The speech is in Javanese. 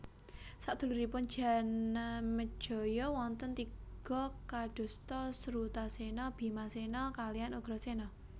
Saduluripun Janamejaya wonten tiga kadosta Srutasena Bimasena kaliyan Ugrasena